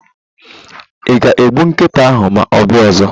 iga egbu nkịta ahu ma obia ozo